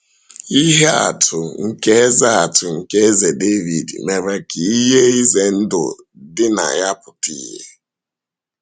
Ihe atụ nke Eze atụ nke Eze Dàvíd mere ka ihe ize ndụ dị na ya pụta ìhè.